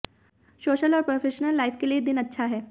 social और professional life के लिए दिन अच्छा है